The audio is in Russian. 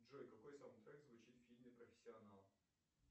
джой какой саундтрек звучит в фильме профессионал